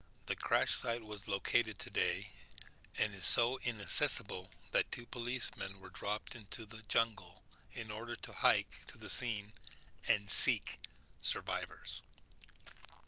the crash site was located today and is so inaccessable that two policemen were dropped into the jungle in order to hike to the scene and seek survivors